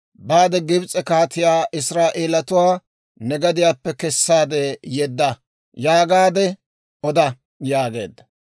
«Baade Gibs'e kaatiyaa, ‹Israa'eeletuwaa ne gadiyaappe kessaade yedda› yaagaade oda» yaageedda.